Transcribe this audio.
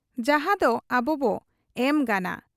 ᱡᱟᱦᱟᱸᱫᱚ ᱟᱵᱚᱵᱚ ᱮᱢ ᱜᱟᱱᱟ ᱾